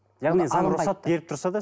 яғни заң рұқсат беріп тұрса да